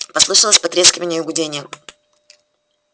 послышалось потрескивание и гудение